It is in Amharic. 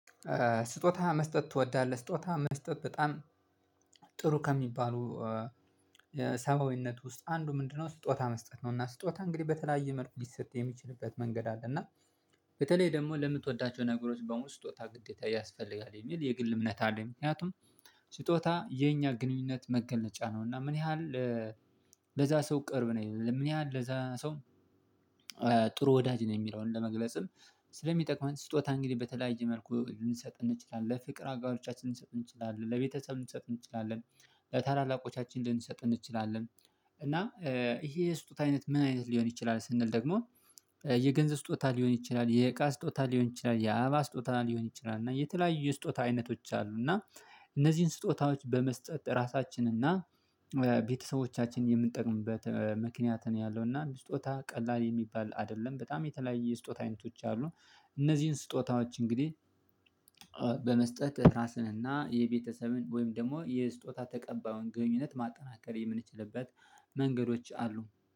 ስጦታ መስጠት ትወዳለህ? ስጦታ መስጠት በጣም ጥሩ ከሚባሉ ሰብያዊነት ውስጥ አንዱ ምንድነው ስጦታ መስጠት ነው እና ስጦታ እንግዲህ በተለያየ መልኩ ሊሰጥ የሚችልበት መንገድ አለ እና በተለይ ደግሞ ለምትወዳቸው ነገሮች በሙሉ ስጦታ ግዴታ ያስፈልጋል የሚል የግል እምነት አለኝ ምክንያቱም ስጦታ የኛ ግንኙነት መገለጫ ነው እና ምን ያህል ለዛ ሰው ቅርብ ነኝ ምን ያህል ለዛ ሰው ጥሩ ወዳጅ ነኝ የሚለውን ለመግለጽም ስለሚጠቅመን ስጦታ እንግዲህ በተለያየ መልኩ ልንሰጥ እንችላለን ለፍቅር አጋሮቻችን ልንሰጥ እንችላለን፤ ለቤተሰብ ልንሰጥ እንችላለን፤ ለታላላቆቻችን ልንሰጥ እንችላለን እና ይሄ የስጦታ አይነት ምን አይነት ሊሆን ይችላል ስንል ደግሞ የገንዘብ ስጦታ ሊሆን ይችላል የእቃ ስጦታ ሊሆን ይችላል የአበባ ስጦታ ሊሆን ይችላል እና የተለያዩ ስጦታ አይነቶች አሉ እና እነዚህን ስጦታዎች በመስጠት ራሳችንና ቤተሰቦቻችን የምንጠቅምበት ምክንያት ነው ያለውና ስጦታ ቀላል የሚባል አይደለም በጣም የተለያየ ስጦታ አይነቶች አሉ እነዚህን ስጦታዎች እንግዲህ በመስጠት ራስንና የቤተሰብን ወይም ደግሞ የስጦታ ተቀባዩን ግንኙነት ማጠናከር የምንችልበት መንገዶች አሉ።